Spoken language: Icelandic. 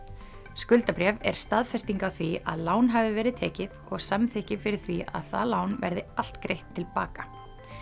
skuldabréf er staðfesting á því að lán hafi verið tekið og samþykki fyrir því að það lán verði allt greitt til baka